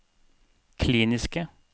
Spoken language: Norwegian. kliniske